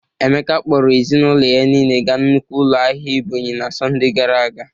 Emeka kpọrọ ezinaụlọ ya niile ga nnukwu ụlọ ahịa Ebonyi na Sọnde gara aga.